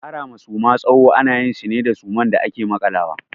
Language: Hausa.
Kara ma Suma tsawo ana yin shi ne da suman da ake makalawa.